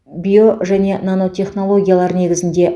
био және нанотехнологиялар негізінде